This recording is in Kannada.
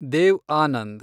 ದೇವ್ ಆನಂದ್